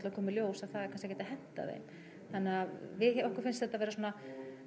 að koma í ljós að það er kannski ekkert að henta þeim þannig að okkur finnst þetta vera svona